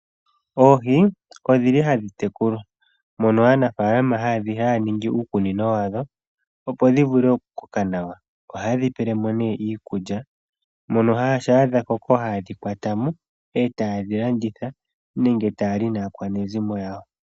Oohi odhili hadhi tekulwa mono aanafalama haya ningi uukunino wadho opo dhi vule okukoka nawa. Ohayedhi pelemo ne iikulya mono shampa dha koko haye dhi kwatamo etaye dhi landitha nenge etaya li naakwanezimo yawo.